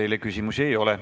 Teile küsimusi ei ole.